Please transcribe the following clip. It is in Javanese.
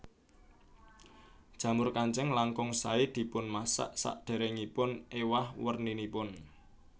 Jamur kancing langkung saé dipunmasak sadèrèngipun éwah werninipun